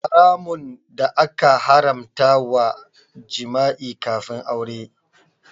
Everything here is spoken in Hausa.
Haramun da aka haramta wa jima'i kafin aure.